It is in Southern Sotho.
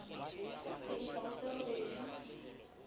ho isa ho tse robedi